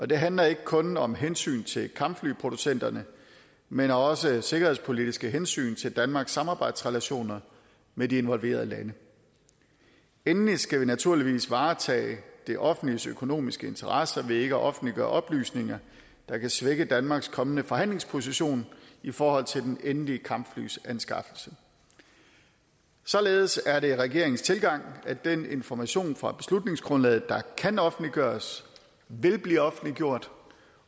det handler ikke kun om hensyn til kampflyproducenterne men også om sikkerhedspolitiske hensyn til danmarks samarbejdsrelationer med de involverede lande endelig skal vi naturligvis varetage det offentliges økonomiske interesser ved ikke at offentliggøre oplysninger der kan svække danmarks kommende forhandlingsposition i forhold til den endelige kampflyanskaffelse således er det regeringens tilgang at den information fra beslutningsgrundlaget der kan offentliggøres vil blive offentliggjort